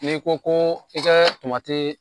N'i ko ko i kɛ tomatii